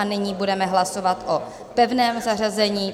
A nyní budeme hlasovat o pevném zařazení.